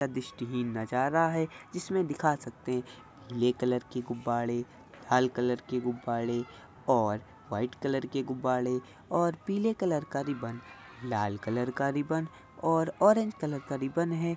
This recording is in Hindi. दृस्टी हीन नजारा हैं जिसमे दिखा सकते हैं पिले कलर के गुब्बारे लाल कलर के गुब्बारे और वाइट कलर के गुब्बारे और पिले कलर का रिबन लाल कलर का रिबन और ऑरेंज कलर का रिबन हैं।